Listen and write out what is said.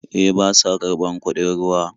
E, ba sa karɓar kuɗin ruwa.